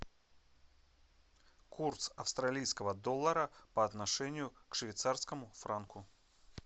курс австралийского доллара по отношению к швейцарскому франку